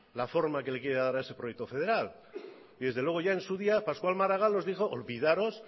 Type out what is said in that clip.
la forma que le quiere dar a ese proyecto federal y desde luego ya en su día pasqual maragall nos dijo olvidaros